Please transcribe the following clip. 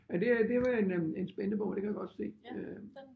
Men det det var en øh en spændende bog det kan jeg godt se øh